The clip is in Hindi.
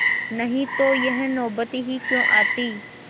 नहीं तो यह नौबत ही क्यों आती